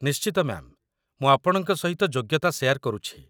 ନିଶ୍ଚିତ, ମ୍ୟା'ମ୍! ମୁଁ ଆପଣଙ୍କ ସହିତ ଯୋଗ୍ୟତା ସେୟାର କରୁଛି